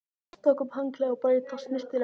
Tók upp handklæðið og braut það snyrtilega saman.